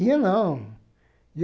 E eu não.